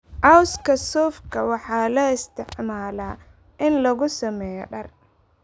Cawska suufka waxaa loo isticmaalaa in lagu sameeyo dhar.